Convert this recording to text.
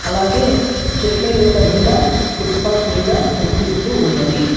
అలాగే చెట్ల యొక్క నీడ ఫూట్పత్ మీద కనిపిస్తూ ఉన్నది.